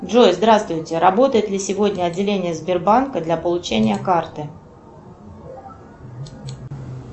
джой здравствуйте работает ли сегодня отделение сбербанка для получения карты